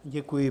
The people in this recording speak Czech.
Děkuji.